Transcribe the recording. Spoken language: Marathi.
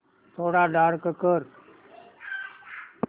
थोडा डार्क कर